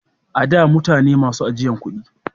A da mutane ne masu ajiyan kudi